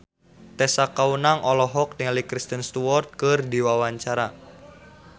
Tessa Kaunang olohok ningali Kristen Stewart keur diwawancara